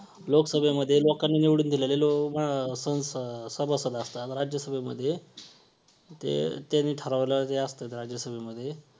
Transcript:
तर व्यवसाय करण्यासारखी सुरू step म्हणजे